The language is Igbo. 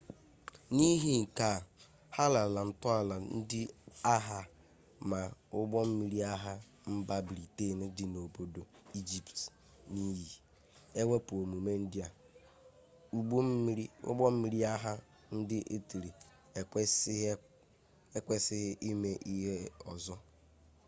n'ihi nke a ha lara ntọala ndị agha ma ụgbọ mmiri agha mba briten dị n'obodo ijipt n'iyi ewepụ omume ndị a ụgbọ mmiri agha ndị itali ekwesịghị ime ihe ọzọ